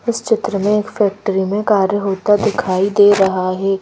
इस चित्र में एक फैक्ट्री में कार्य होता दिखाई दे रहा है।